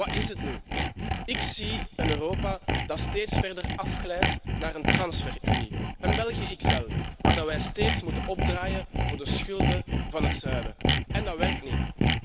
Wat is het nu? Ik zie een Europa dat steeds verder afglijdt naar een transferunie, een België XL, waar wij steeds moeten opdraaien voor de schulden van het zuiden en dat werkt niet.